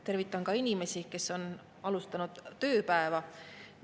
Tervitan ka inimesi, kes on alustanud tööpäeva.